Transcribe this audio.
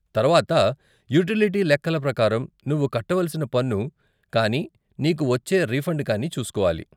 తర్వాత యూటిలిటీ లెక్కల ప్రకారం నువ్వు కట్టవలసిన పన్ను కానీ నీకు వచ్చే రిఫండ్ కానీ చూస్కోవాలి.